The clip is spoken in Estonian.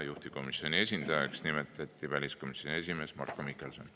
Juhtivkomisjoni esindajaks nimetati väliskomisjoni esimees Marko Mihkelson.